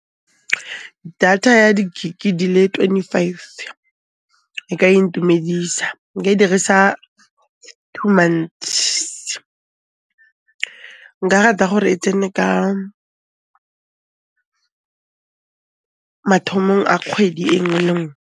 Data ya di gig-i di le twenty five, e ka intumedisa, nka e dirisa two months. Nka rata gore e tsene ka mathomong a kgwedi e nngwe le nngwe.